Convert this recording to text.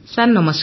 sir ନମସ୍କାର